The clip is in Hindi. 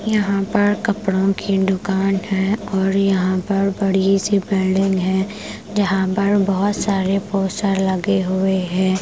यहाँ पर कपड़ों की दुकान है और यहाँ पर बड़ी सी बिल्डिंग है यहाँ पर बहुत सारे पोस्टर लगे हुए है।